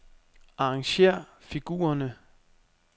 Arrangér figurerne.